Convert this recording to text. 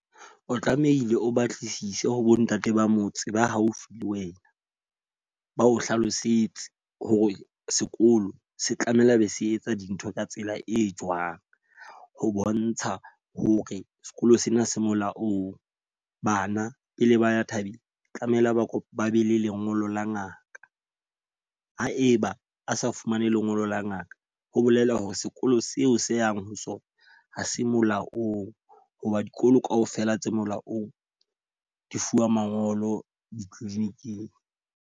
O tlamehile o batlisise ho bo ntate ba motse ba haufi le wena. Ba o hlalosetse hore sekolo se tlamehile be se etsa dintho ka tsela e jwang. Ho bontsha hore sekolo sena se molaong. Bana pele ba ya thabeng tlamehile ba be le lengolo la ngaka. Haeba a sa fumane lengolo la ngaka, ho bolela hore sekolo seo se yang ho sona ha se molaong. Ho ba dikolo ka ofela tse molaong di fuwa mangolo di-clinic-ing.